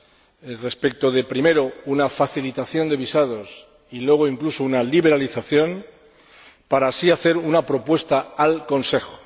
Primero, respecto a una facilitación de visados y luego, incluso, a una liberalización, para así hacer una propuesta al Consejo.